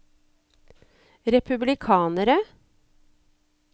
republikanere